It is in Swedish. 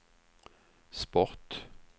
sport